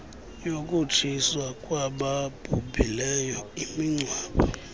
yokutshiswa kwababhuhileyo imingcwabo